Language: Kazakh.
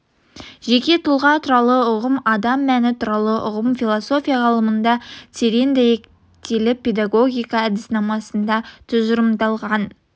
жеке тұлға туралы ұғым адам мәні туралы ұғым философия ғылымында терең дәйектеліп педагогика әдіснамасында тұжырымдалған